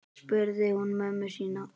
spurði hún mömmu sína.